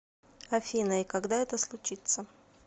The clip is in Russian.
афина и когда это случится